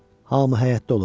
Hamı həyətdə olub.